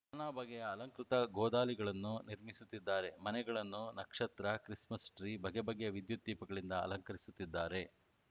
ನಾನಾ ಬಗೆಯ ಅಲಂಕೃತ ಗೋದಲಿಗಳನ್ನು ನಿರ್ಮಿಸುತ್ತಿದ್ದಾರೆ ಮನೆಗಳನ್ನು ನಕ್ಷತ್ರ ಕ್ರಿಸ್‌ಮಸ್‌ ಟ್ರೀ ಬಗೆಬಗೆಯ ವಿದ್ಯುತ್‌ ದೀಪಗಳಿಂದ ಅಲಂಕರಿಸುತ್ತಿದ್ದಾರೆ